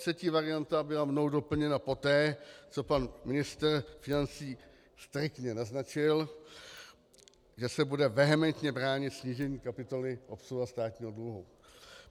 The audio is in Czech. Třetí varianta byla mnou doplněna poté, co pan ministr financí striktně naznačil, že se bude vehementně bránit snížení kapitoly obsluha státního dluhu.